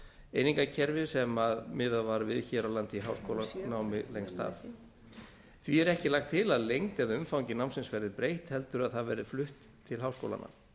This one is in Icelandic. einingakerfi sem almennt miðað var við hér á landi í háskólanámi lengst af því er ekki lagt til að lengd eða umfangi námsins verði breytt heldur að það verði flutt til háskólanna